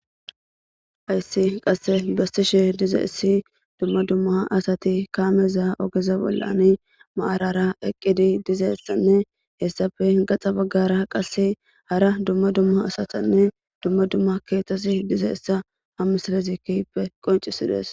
hayssi qasse bestishe diza issi dumma dumma asati kaameza ogeza bollani maarara eqqidi diza issanne hessafe gaxa baggara qasse hara dumma dumma asatanne dumma dumma keetasi diza issa ha misalezikkippe qoncisides